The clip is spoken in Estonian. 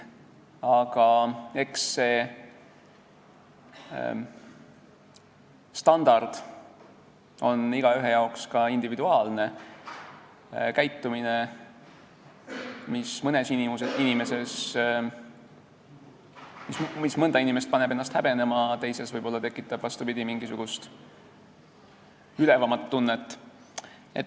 Aga eks see standard ole igaühel individuaalne: käitumine, mis mõnda inimest paneb häbenema, tekitab võib-olla teises, vastupidi, mingisugust ülevat tunnet.